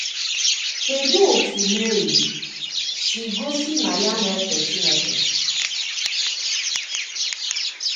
Kedụ otú Meri sì gosi na ya na-èfè Chineke?